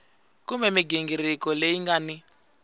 kumbe mighingiriko leyi nga ni